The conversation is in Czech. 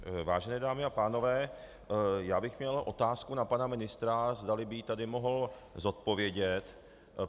Vážené dámy a pánové, já bych měl otázku na pana ministra, zdali by ji mohl tady zodpovědět.